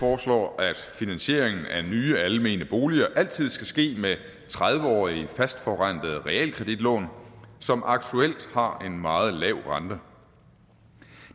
foreslår at finansieringen af nye almene boliger altid skal ske med tredive årige fastforrentede realkreditlån som aktuelt har en meget lav rente